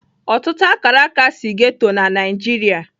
Ọtụtụ Akaraka si ghetto na Nigeria.